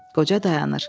Qoca dayanır.